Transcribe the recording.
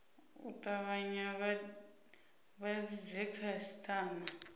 u tavhanya vha vhidze khasitama